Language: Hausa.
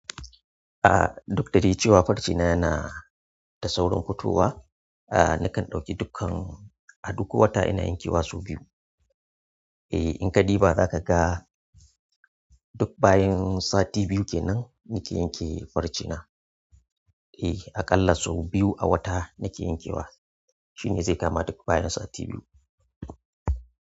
A, duk da dai cewa farce na yana da saurin fitowa. A nakan ɗauki dukkan, a duk wata ina yankewa sau biyu. Eh in ka diba zaka ga duk bayan sati biyu kenan nake yanke farce na. Eh aƙalla sau biyu a wata nake yankewa. Shine zai kama duk bayan sati biyu.